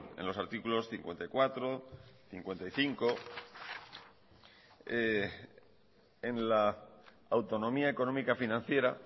en los artículos cincuenta y cuatro y cincuenta y cinco en la autonomía económica financiera